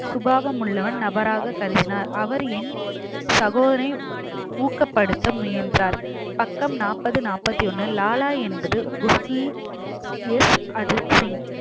சுபாவம் உள்ளவன் நபராகக் கருதினார் அவர் என் சகோதரனை ஊக்கப்படுத்த முயன்றார் பக்கம் நாற்பது நாற்பத்தி ஒண்ணு லாலா என்பது அஜித் சிங்